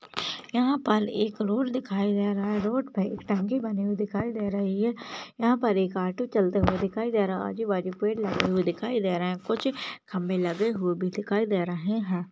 यहा पर एक रोड दिखाई दे रहा है रोड पर एक टंकी बनी हुई दिखाई दे रही है यहा पर एक ऑटो चलते हुए दिखाई दे रहा आजूबाजू पेड़ लगे हुए दिखाई दे रहे कुछ खंबे लगे हुए भी दिखाई दे रहे है।